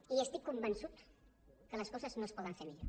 i estic convençut que les coses no es poden fer millor